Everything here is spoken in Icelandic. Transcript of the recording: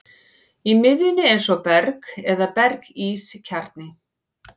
Í miðjunni er svo berg eða berg-ís kjarni.